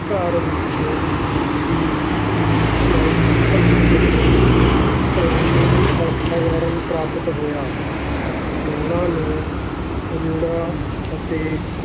ਘਰ ਵਿਚ ਹੀ ਸਾਹਿਤਕ ਅਤੇ ਕਲਾਮਈ ਵਾਤਾਵਰਣ ਪ੍ਰਾਪਤ ਹੋਇਆ, ਉਨ੍ਹਾਂ ਨੂੰ ਖੁਲਾ ਅਤੇ